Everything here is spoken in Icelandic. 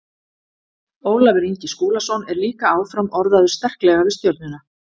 Ólafur Ingi Skúlason er líka áfram orðaður sterklega við Stjörnuna.